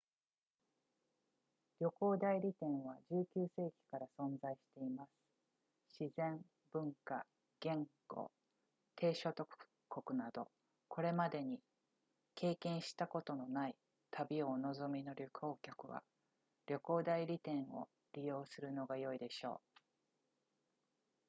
旅行代理店は19世紀から存在しています自然文化言語低所得国などこれまでに経験したことのない旅をお望みの旅行客は旅行代理店を利用するのが良いでしょう